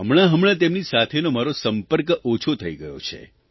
હમણાંહમણાં તેમની સાથેનો મારો સંપર્ક ઓછો થઇ ગયો છે